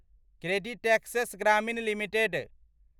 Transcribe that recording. CreditAccess Grameen limited